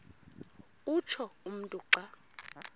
utsho umntu xa